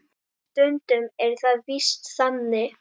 Stundum er það víst þannig.